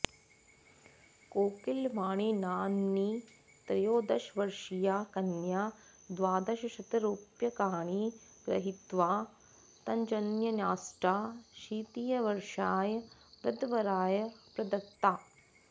कोकिलवाणीनाम्नी त्रयोदशवर्षीया कन्या द्वादशशतरूप्यकाणि गृहीत्वा तज्जनन्याष्टाशीतिवर्षाय वृद्धवराय प्रदत्ता